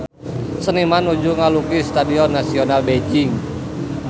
Seniman nuju ngalukis Stadion Nasional Beijing